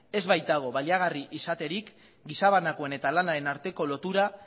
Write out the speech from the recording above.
ez baitago baliagarri izaterik gizabanakoaren eta lanaren arteko lotura